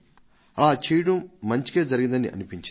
అలా చేయడం మంచికే జరిగిందని అనిపించింది